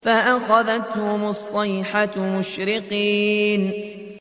فَأَخَذَتْهُمُ الصَّيْحَةُ مُشْرِقِينَ